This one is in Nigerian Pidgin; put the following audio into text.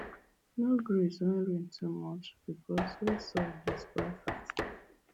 no graze when rain too much because wet soil dey spoil fast